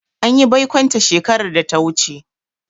An yi baikonta shekarar da ta wuce.